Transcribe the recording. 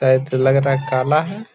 लग रहा है काला है। .